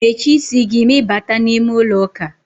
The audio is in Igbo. Mechie isi gi ma I bata n'ime ulo uka!